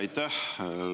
Aitäh!